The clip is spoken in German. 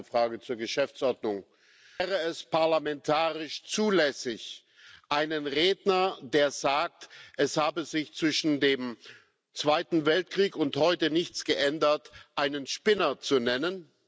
Ich habe eine Frage zur Geschäftsordnung Wäre es parlamentarisch zulässig, einen Redner, der sagt, es habe sich zwischen dem Zweiten Weltkrieg und heute nichts geändert, einen Spinner zu nennen?